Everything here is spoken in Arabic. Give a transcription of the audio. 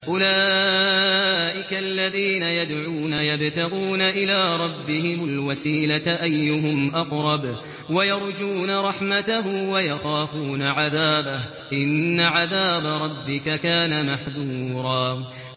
أُولَٰئِكَ الَّذِينَ يَدْعُونَ يَبْتَغُونَ إِلَىٰ رَبِّهِمُ الْوَسِيلَةَ أَيُّهُمْ أَقْرَبُ وَيَرْجُونَ رَحْمَتَهُ وَيَخَافُونَ عَذَابَهُ ۚ إِنَّ عَذَابَ رَبِّكَ كَانَ مَحْذُورًا